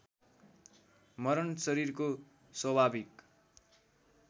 मरण शरीरको स्वाभाविक